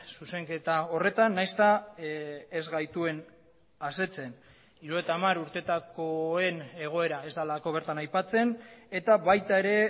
zuzenketa horretan nahiz eta ez gaituen asetzen hirurogeita hamar urtetakoen egoera ez delako bertan aipatzen eta baita ere